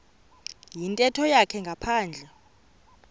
yintetho yakhe ngaphandle